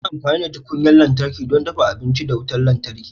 Ana amfani da tukunyar lantarki don dafa abinci da wutar lantarki.